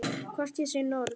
Hvort ég sé norn.